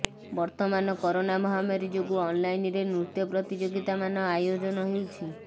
ବର୍ତମାନ କରୋନା ମହାମାରୀ ଯୋଗୁ ଅନଲାଇନରେ ନୃତ୍ୟ ପ୍ରତିଯୋଗିତା ମାନ ଆୟୋଜନ ହେଉଛି